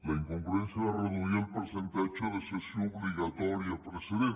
la incongruència de reduir el percentatge de cessió obligatòria precedent